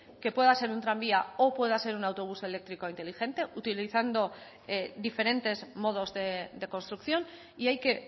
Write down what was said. que pueda ser un tranvía o pueda ser un autobús eléctrico inteligente utilizando diferentes modos de construcción y hay que